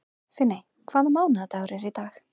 Finney, hvaða mánaðardagur er í dag?